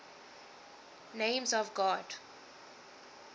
names of god